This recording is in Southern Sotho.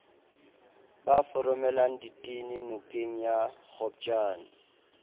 ba foromelang ditene nokengya kgopjane